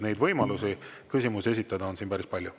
Neid võimalusi küsimusi esitada on siin päris palju.